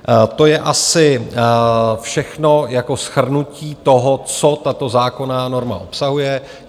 To je asi všechno jako shrnutí toho, co tato zákonná norma obsahuje.